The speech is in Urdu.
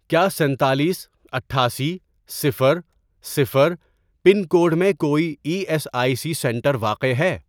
کیا سینتالیس ،اٹھاسی، صفر، صفر، پن کوڈ میں کوئی E S I C centre واقع ہے؟